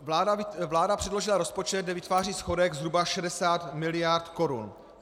Vláda předložila rozpočet, kde vytváří schodek zhruba 60 mld. korun.